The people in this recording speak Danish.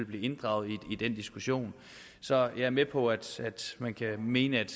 blive inddraget i den diskussion så jeg er med på at man kan mene at